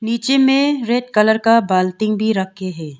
पीछे में red colour का बाल्टी भी रखे हैं।